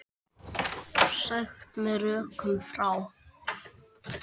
Sagt með rökum frá.